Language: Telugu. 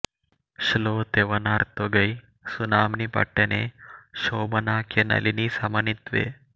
శ్లో తేవనార్ తొగై సునామ్ని పట్టణే శోభనాఖ్య నళినీ సమన్వితే